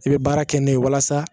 I bɛ baara kɛ n'o ye walasa